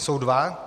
Jsou dva.